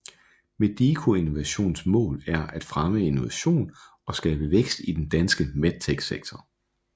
Medico Innovations mål er at fremme innovation og skabe vækst i den danske medtech sektor